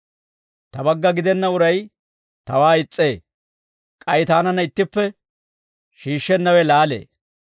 «Ta bagga gidenna uray tawaa is's'ee; k'ay taananna ittippe shiishshennawe laalee.